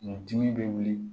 Kun dimi bɛ wuli